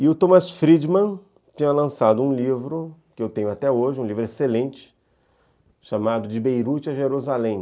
E o Thomas Friedman tinha lançado um livro, que eu tenho até hoje, um livro excelente, chamado De Beirute a Jerusalém.